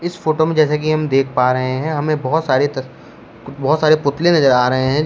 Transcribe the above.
इस फोटो में जैसे कि हम देख पा रहे हैं हमें बहोत सारे तस बहोत सारे पुतले नजर आ रहे हैं।